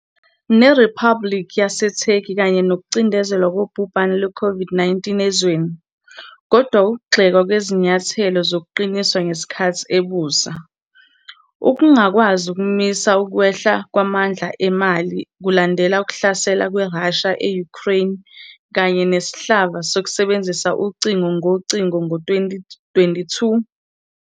neRiphabhulikhi yaseTurkey kanye nokucindezelwa kobhubhane lwe-COVID-19 ezweni, kodwa ukugxekwa kwezinyathelo zokuqiniswa ngesikhathi ebusa, ukungakwazi ukumisa ukwehla kwamandla emali kulandela ukuhlasela kweRussia e-Ukraine kanye nesihlava sokusebenzisa ucingo ngocingo ngo-2022.